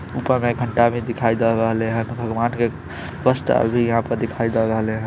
ऊपर मे एक घंटा भी दिखाई द रहले हेय भगवान के पांच टा आदमी यहां पर दिखाई द रहले हेय।